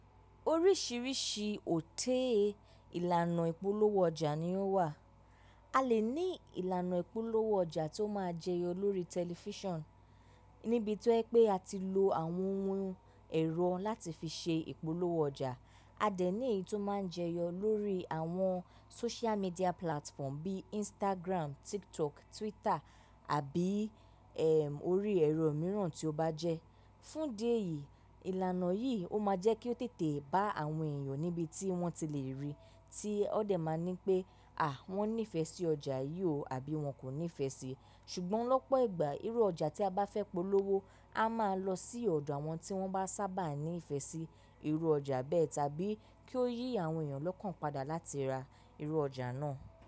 Oríṣìíríṣìí òtee ìlànà ìpolówó ọjà ni ó wà. A lè ní ìlànà ìpolówó ọjà tó máa jẹyọ lórí tẹlifíṣàn níbi tó jewipé a ti lo àwọn ohun ẹ̀rọ láti fi ṣe ìpolówó ọjà. A dẹ̀ ní èyí tó máa ń jẹyọ lórí àwọn social media platform bíi Instagram, TikTok, Twitter àbí i ẹ́ orí ẹ̀rọ mìíràn tí ó bá jẹ́. Fún dí ẹ̀yìí, ìlànà yìí ó máa jẹ́ kí ó tètè bá àwọn èèyàn níbi tí wọ́n ti lè rí i tí wón dẹ̀ máa ní pé à wọ́n nífẹ̀ẹ́ sí ọjà yìí o àbí wọ́n kò nífẹ̀ẹ́ sí i. Ṣùgbọ́n lọ́pọ̀ ìgbà irú ọjà tí a bá fẹ́ polówó, a máa lọ sí ọ̀dọ̀ àwọn tí wọ́n bá sábà ní ìfẹ́ sí irú ọjà bẹ́ẹ̀ tàbí kí ó yí àwọn èèyàn lọ́kàn padà láti ra irú ọjà náà.